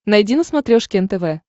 найди на смотрешке нтв